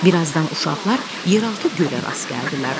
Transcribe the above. Bir azdan uşaqlar yeraltı gölə rast gəldilər.